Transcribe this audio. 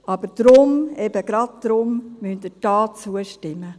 Aber deshalb, eben gerade deshalb, müssen Sie hier zustimmen.